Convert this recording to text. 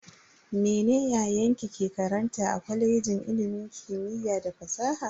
Mene yayanki ke karanta a kwalejin kimiyya da fasaha?